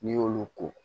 N'i y'olu ko